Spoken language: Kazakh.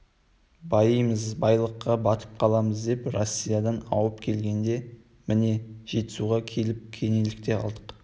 байимыз байлыққа батып қаламыз деп россиядан ауып келгенде міне жетісуға келіп кенелдік те қалдық